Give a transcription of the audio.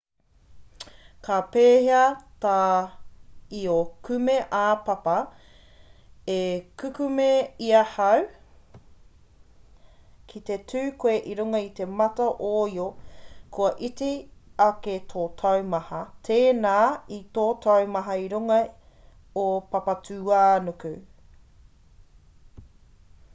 ka pēhea tā io kume-ā-papa e kukume i ahau ki te tū koe i runga i te mata o io kua iti ake tō taumaha tēnā i tō taumaha ki runga o papatūānuku